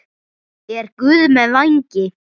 Er Guð með vængi?